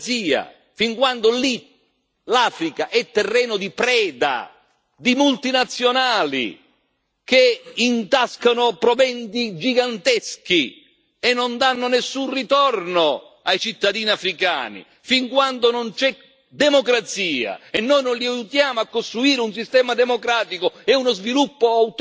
Fin quando l'Africa è terreno di preda di multinazionali che intascano proventi giganteschi e non danno nessun ritorno ai cittadini africani, fin quando non c'è democrazia e noi non li aiutiamo a costruire un sistema democratico e uno sviluppo autonomo